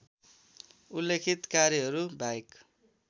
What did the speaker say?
उल्लेखित कार्यहरू बाहेक